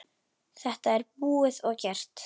Þetta er búið og gert.